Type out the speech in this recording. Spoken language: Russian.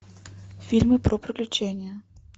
фильмы про приключения